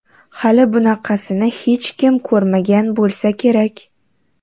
Hali bunaqasini hech kim ko‘rmagan bo‘lsa kerak.